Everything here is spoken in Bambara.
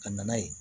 Ka na ye